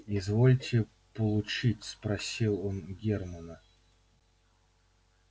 извольте получить спросил он германна